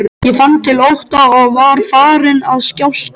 Ég fann til ótta og var farin að skjálfa.